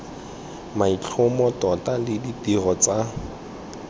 maitlhomo tota le ditiro tsa